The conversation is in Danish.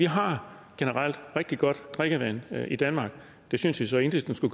har rigtig godt drikkevand i danmark det synes jeg så enhedslisten